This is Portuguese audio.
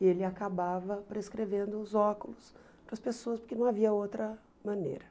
E ele acabava prescrevendo os óculos para as pessoas, porque não havia outra maneira.